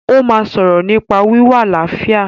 Ó máa sọ̀rọ̀ nípa wíwá àlàáfíà